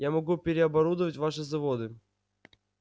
я могу переоборудовать ваши заводы